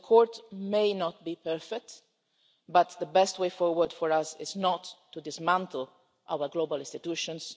So the court may not be perfect, but the best way forward for us is not to dismantle our global institutions.